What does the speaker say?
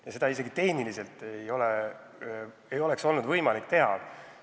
Seda poleks isegi tehniliselt olnud võimalik teha.